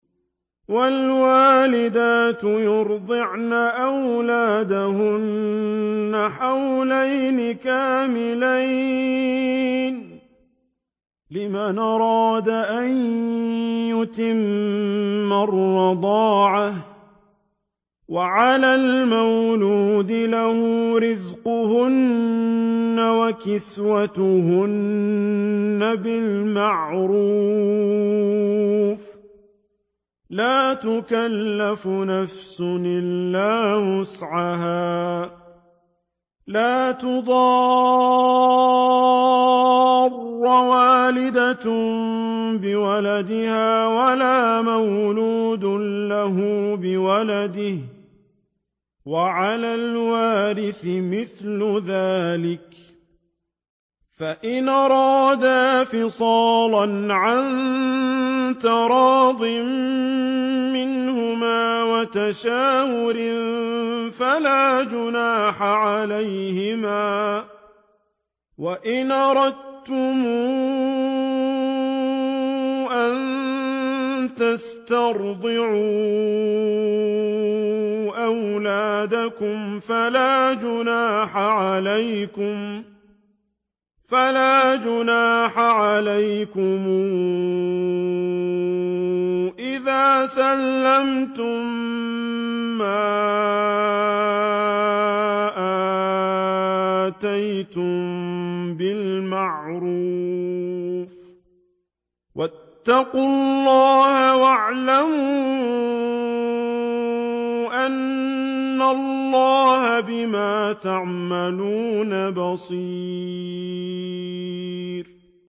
۞ وَالْوَالِدَاتُ يُرْضِعْنَ أَوْلَادَهُنَّ حَوْلَيْنِ كَامِلَيْنِ ۖ لِمَنْ أَرَادَ أَن يُتِمَّ الرَّضَاعَةَ ۚ وَعَلَى الْمَوْلُودِ لَهُ رِزْقُهُنَّ وَكِسْوَتُهُنَّ بِالْمَعْرُوفِ ۚ لَا تُكَلَّفُ نَفْسٌ إِلَّا وُسْعَهَا ۚ لَا تُضَارَّ وَالِدَةٌ بِوَلَدِهَا وَلَا مَوْلُودٌ لَّهُ بِوَلَدِهِ ۚ وَعَلَى الْوَارِثِ مِثْلُ ذَٰلِكَ ۗ فَإِنْ أَرَادَا فِصَالًا عَن تَرَاضٍ مِّنْهُمَا وَتَشَاوُرٍ فَلَا جُنَاحَ عَلَيْهِمَا ۗ وَإِنْ أَرَدتُّمْ أَن تَسْتَرْضِعُوا أَوْلَادَكُمْ فَلَا جُنَاحَ عَلَيْكُمْ إِذَا سَلَّمْتُم مَّا آتَيْتُم بِالْمَعْرُوفِ ۗ وَاتَّقُوا اللَّهَ وَاعْلَمُوا أَنَّ اللَّهَ بِمَا تَعْمَلُونَ بَصِيرٌ